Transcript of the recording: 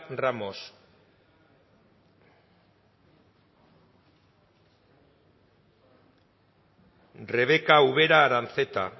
ramos rebeka ubera aranzeta